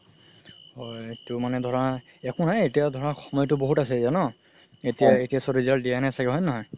হয় তো মানে ধৰা একো নাই এতিয়া ধৰা সময়তো বহুত আছে ন এতিয়া result দিয়াই নাই ছাগে হয় নে নহয়